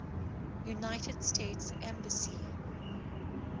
united states embassy